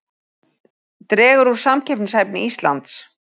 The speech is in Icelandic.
Dregur úr samkeppnishæfni Íslands